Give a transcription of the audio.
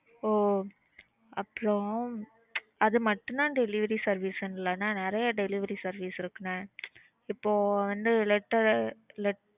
ஓ அப்புறம் அது மட்டும் தான் delivery service ல ன்னா என்ன நறைய delivery service இருக்கு என்ன இப்போ வந்து letter let